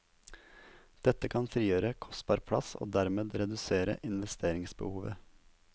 Dette kan frigjøre kostbar plass og dermed redusere investeringsbehovet.